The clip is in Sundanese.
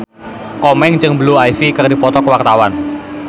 Komeng jeung Blue Ivy keur dipoto ku wartawan